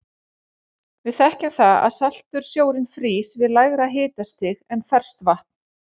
Við þekkjum það að saltur sjórinn frýs við lægra hitastig en ferskt vatn.